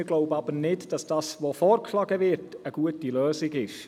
Wir glauben aber nicht, dass das Vorgeschlagene eine gute Lösung ist.